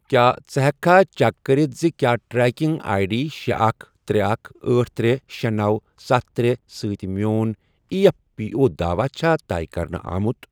کیٛاہ ژٕ ہیٚککھا چیک کٔرتھ زِ کیٛاہ ٹریکنگ آٮٔۍ ڈی شے، اکھ، ترے، اکھ، أٹھ، ترے، شے، نو، ستھ، ترے، سۭتۍ میٚون ایی ایف پی او داواہ چھا طے کَرنہٕ آمُت؟